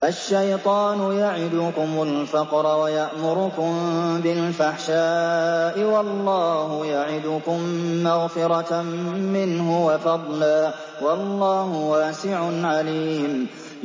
الشَّيْطَانُ يَعِدُكُمُ الْفَقْرَ وَيَأْمُرُكُم بِالْفَحْشَاءِ ۖ وَاللَّهُ يَعِدُكُم مَّغْفِرَةً مِّنْهُ وَفَضْلًا ۗ وَاللَّهُ وَاسِعٌ عَلِيمٌ